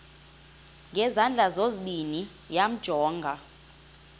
ngezandla zozibini yamjonga